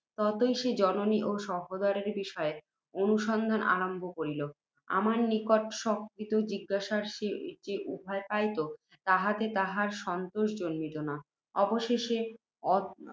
ততই সে জননী ও সহোদরের বিষয়ে অনুসন্ধান আরম্ভ করিল। আমার নিকট স্বকৃত জিজ্ঞাসার যে উত্তর পাইত, তাহাতে তাহার সন্তোষ জন্মিত না। অবশেষে,